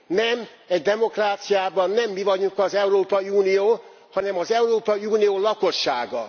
Nem, egy demokráciában nem mi vagyunk az Európai Unió, hanem az Európai Unió lakossága.